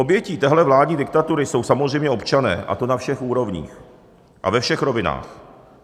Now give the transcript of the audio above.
Obětí téhle vládní diktatury jsou samozřejmě občané, a to na všech úrovních a ve všech rovinách.